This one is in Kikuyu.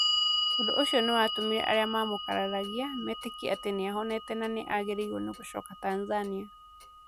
Ũndũ ũcio nĩ watũmire arĩa maamũkararagia metĩkie atĩ nĩ nĩahonete na nĩ aagĩrĩirwo nĩ gũcoka Tanzania.